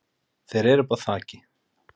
Þeir eru uppi á þaki.